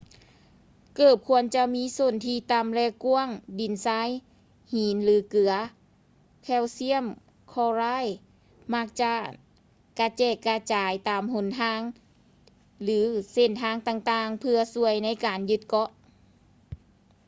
ເກີບຄວນຈະມີສົ້ນທີ່ຕໍ່າ ແລະ ກ້ວາງ. ດິນຊາຍ ຫີນ ຫຼື ເກືອ ແຄວຊຽມ ຄລໍຣາຍ ມັກຈະກະແຈກກະຈາຍຕາມຫົນທາງ ຫຼື ເສັ້ນທາງຕ່າງໆເພື່ອຊ່ວຍໃນການຍຶດເກາະ